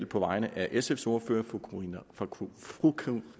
på vegne af sfs ordfører fru